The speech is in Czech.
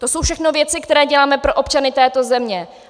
To jsou všechno věci, které děláme pro občany této země.